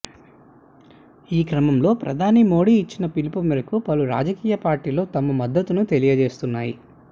ఈ క్రమంలో ప్రధాని మెదీ ఇచ్చిన పిలుపు మేరకు పలు రాజకీయ పార్టీలు తమ మద్దతును తెలియజేస్తున్నాయి